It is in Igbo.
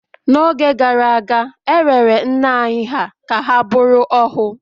n’oge gara aga, e rere nna anyị hà ka ha bụrụ ohu